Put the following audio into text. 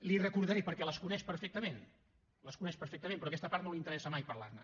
les hi recordaré perquè les coneix perfectament les coneix perfectament però d’aquesta part no li interessa mai parlar ne